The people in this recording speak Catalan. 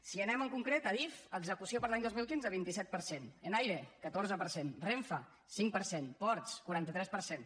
si anem en concret a adif execució per a l’any dos mil quinze vint set per cent enaire catorze per cent renfe cinc per cent ports quaranta tres per cent